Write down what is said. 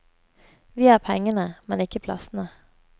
Vi har pengene, men ikke plassene.